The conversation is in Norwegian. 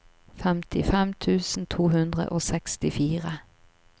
femtifem tusen to hundre og sekstifire